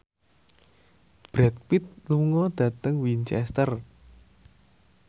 Brad Pitt lunga dhateng Winchester